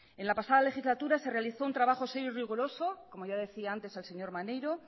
en la pasada legislatura se realizó un trabajo serio y riguroso como ya decía antes el señor maneiro